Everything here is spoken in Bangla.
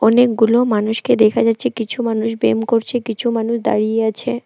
অনেকগুলো মানুষকে দেখা যাচ্ছে কিছু মানুষ ব্যাম করছে কিছু মানুষ দাঁড়িয়ে আছে।